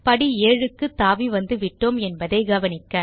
படி 7 க்கு தாவி வந்துவிட்டோம் என்பதை கவனிக்க